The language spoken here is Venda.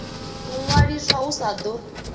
u ṅwaliswa hu sa ḓo